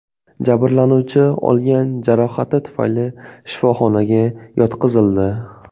Jabrlanuvchi olgan jarohati tufayli shifoxonaga yotqizildi.